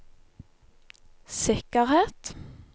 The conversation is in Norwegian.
sikkerhet